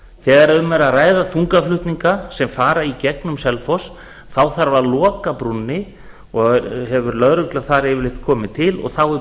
þegar um er að ræða þungaflutninga sem fara í gegnum selfoss þá þarf að loka brúnni og hefur lögregla þar yfirleitt komið til og þá er